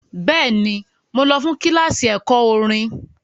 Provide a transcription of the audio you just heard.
Bẹ́ẹ̀ni, mo lọ fún kíláàsì ẹ̀kọ́ orin.